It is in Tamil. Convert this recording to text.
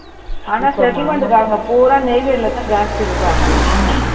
ஆனா அங்க போனா நெய்வேலில தான் ஜாஸ்தி இருப்பாங்க